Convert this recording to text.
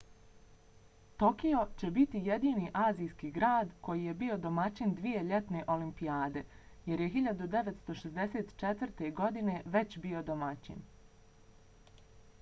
tokio će biti jedini azijski grad koji je bio domaćin dvije ljetne olimpijade jer je 1964. godine već bio domaćin